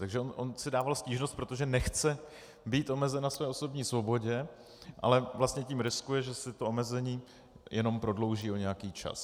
Takže on si dával stížnost, protože nechce být omezen na své osobní svobodě, ale vlastně tím riskuje, že si to omezení jenom prodlouží o nějaký čas.